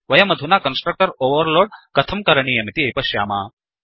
वयमधुना constructor overload कथं क्रणीयमिति पश्याम